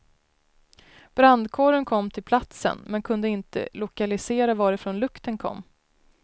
Brandkåren kom till platsen, men kunde inte lokalisera varifrån lukten kom.